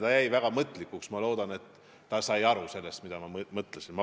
Ta jäi väga mõtlikuks, ma loodan, et ta sai aru, mida ma mõtlesin.